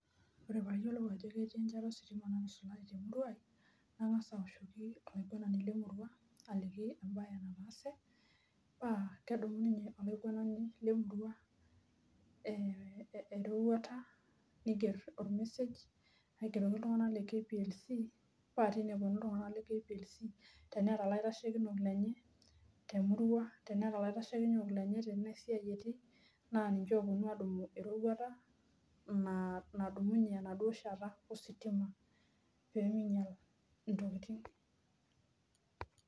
Ore payiolou ajo keti enchata ositima natusulari temurua nangasa aoshoki olaiguanani lemurua aliki embae nataasw, pakedumu olaiguanani lemurua erorwata Niger ormesej aigeruko ltunganak le kplc meta tine eponu laasak le kplc temurua tenea olaisekino lenye tenamuruanabninche oponu Aya eroruata nadumunyebenaduo shat asitima peminyala toki